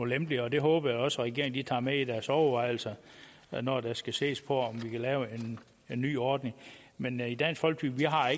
lempeligere og det håber jeg også regeringen tager med i deres overvejelser når der skal ses på om vi kan lave en ny ordning men i dansk folkeparti har